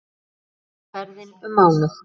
Alls tók ferðin um mánuð.